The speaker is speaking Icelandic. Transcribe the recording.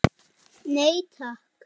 Nei, takk.